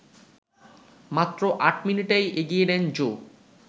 মাত্র ৮ মিনিটেই এগিয়ে নেন জো